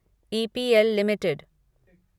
EPL limited